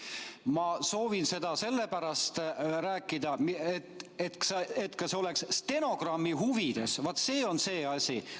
Ma soovin seda sellepärast rääkida, et see oleks ka stenogrammis, vaat see on see asi.